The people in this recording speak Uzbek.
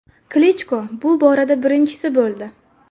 Klichko bu borada birinchisi bo‘ldi.